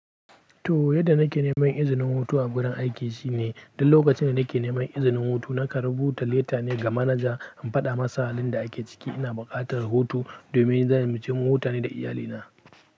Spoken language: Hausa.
To, yadda nake neman izinin hutu a gurin aiki shine, duk lokacin da nake neman izinin hutu, na karɓu ta leta ne ga manaja in faɗa matsalolin da ake ciki. Ina buƙatar hutu domin zan mu ce mu huta ne da iyalina.